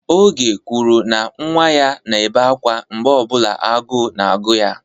Oge kwuru na nwa ya na-ebe akwa mgbe ọ bụla agụụ na-agụ ya.